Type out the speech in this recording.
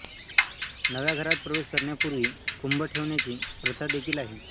नव्या घरात प्रवेश करण्यापूर्वी कुंभ ठेवण्याची प्रथा देखील आहे